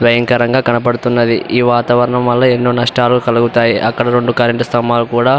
భయంకరంగా కనబడుతున్నాయి. ఈ వాతావరం వల్ల ఎన్నో నష్టాలు కలుగుతాయి. అక్కడ రెండు కరెంటు స్తంబాలు కూడా --